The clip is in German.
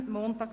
4 Min.